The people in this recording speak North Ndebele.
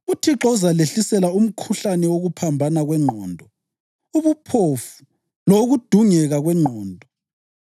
UThixo uzalehlisela umkhuhlane wokuphambana kwengqondo, ubuphofu lowokudungeka kwengqondo.